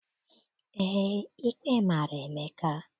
Eé, ikpe mara Emeka.